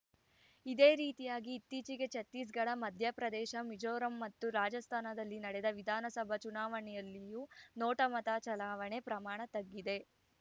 ಇದೇ ರೀತಿಯಾಗಿ ಇತ್ತೀಚೆಗೆ ಛತ್ತೀಸ್‌ಗಢ ಮಧ್ಯಪ್ರದೇಶ ಮಿಜೋರಂ ಮತ್ತು ರಾಜಸ್ಥಾನದಲ್ಲಿ ನಡೆದ ವಿಧಾನಸಭಾ ಚುನಾವಣೆಯಲ್ಲಿಯೂ ನೋಟಾ ಮತ ಚಲಾವಣೆ ಪ್ರಮಾಣ ತಗ್ಗಿದೆ